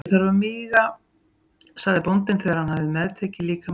Ég þarf að míga, sagði bóndinn þegar hann hafði meðtekið líkama Krists.